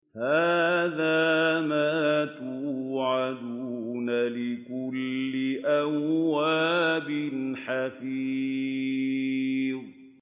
هَٰذَا مَا تُوعَدُونَ لِكُلِّ أَوَّابٍ حَفِيظٍ